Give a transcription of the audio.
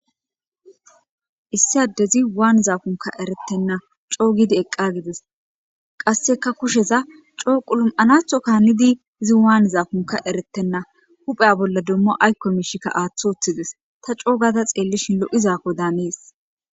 issi adezi waanizaakonka eretenna coogidi eqqagides qasseka kusheza coo qulum7anathonka hanidi izi waanizaakoka eretenna hupheya bolla dommo aykko miishikka aaththi uththides ta coogada xeellishin lo7izakko dannees